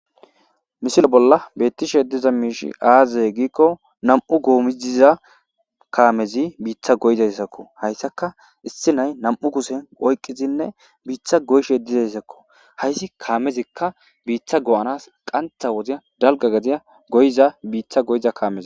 Misile bolla bettishe diza mishii azee?gizayssa gidikko nam'u goomay diza kamezi bitta goyzayssakko.hessika gashe na'ay nam'u kushen oykidi biitta goyzayssakko.hayssi kamezika qantha wodiyan dalgga gade goyiza kamekko.